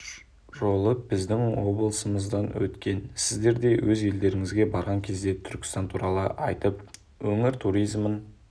жолы біздің облысымыздан өткен сіздер де өз елдеріңізге барған кезде түркістан туралы айтып өңір туризмін